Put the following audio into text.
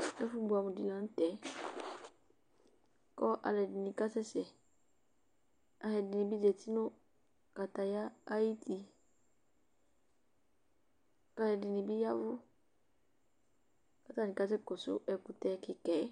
Ɛfʋ bʋɛamʋ dɩ la nʋ tɛ kʋ alʋɛdɩnɩ kasɛsɛ Alʋɛdɩnɩ bɩ zati nʋ kataya ayuti kʋ alʋɛdɩnɩ bɩ ya ɛvʋ kʋ atanɩ kasɛkɔsʋ ɛkʋtɛ kɩka yɛ